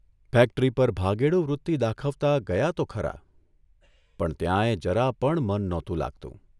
Factory પર ભાગેડુવૃત્તિ દાખવતા ગયા તો ખરા, પણ ત્યાંય જરા પણ મન નહોતું લાગતું.